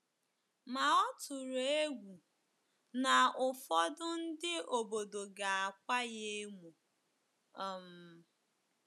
Ma ọ tụrụ egwu na ụfọdụ ndị obodo ga-akwa ya emo. um